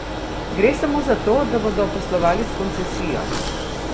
Gre samo za to, da bodo poslovali s koncesijo!